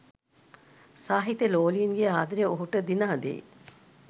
සාහිත්‍යලෝලීන්ගේ ආදරය ඔහුට දිනා දෙයි.